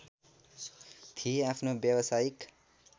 थिए आफ्नो व्यावसायिक